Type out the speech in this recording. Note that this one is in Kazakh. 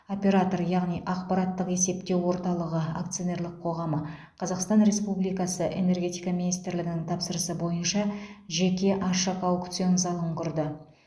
оператор яғни ақпараттық есептеу орталығы акционерлік қоғамы қазақстан республикасы энергетика министрлігінің тапсырысы бойынша жеке ашық аукцион залын құрды